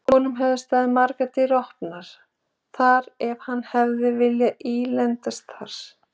Honum hefðu staðið margar dyr opnar þar ef hann hefði viljað ílendast þar.